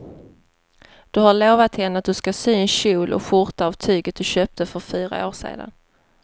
Du har lovat henne att du ska sy en kjol och skjorta av tyget du köpte för fyra år sedan.